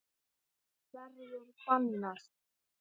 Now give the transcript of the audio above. Það verður bannað.